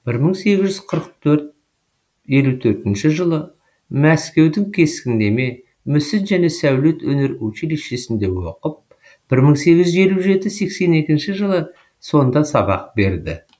бір мың сегіз жүз қырық төрт елу төртінші жылы мәскеудің кескіндеме мүсін және сәулет өнер училищесінде оқып бір мың сегіз жүз елу жеті сексен екінші жылы сонда сабақ берді